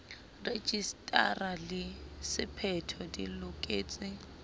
rejisetara le sephetho di loketse